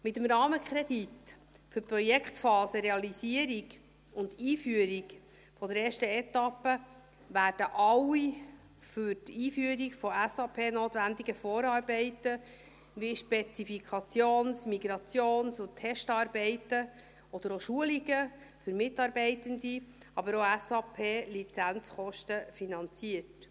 Mit dem Rahmenkredit für die Projektphase Realisierung und Einführung der ersten Etappe, werden alle für die Einführung von SAP notwendigen Vorarbeiten, wie Spezifikations-, Migrations- und Testarbeiten, oder auch Schulungen für Mitarbeitende, aber auch SAP-Lizenzkosten, finanziert.